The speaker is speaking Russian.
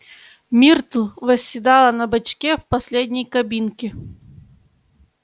миртл восседала на бачке в последней кабинке